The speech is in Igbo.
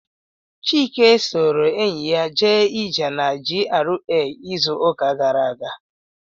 Chike soro enyi ya jee ije na GRA izu uka gara aga.